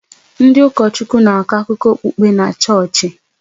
Ndị ụkọchukwu na-akọ akụkọ okpukpe na chọọchị